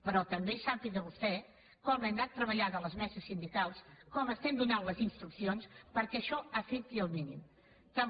però també sàpiga vostè com l’hem anat treballant a les meses sindicals com donem les instruccions perquè això afecti el mínim